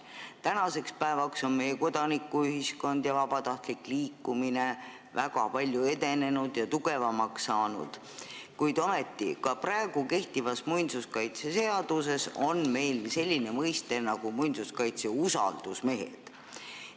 Tänaseks päevaks on meie kodanikuühiskond ja vabatahtlik liikumine väga palju edenenud ja tugevamaks saanud, kuid ometi on ka kehtivas muinsuskaitseseaduses selline mõiste nagu muinsuskaitse usaldusmehed.